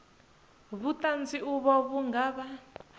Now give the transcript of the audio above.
vhuṱanzi uvho vhu nga vha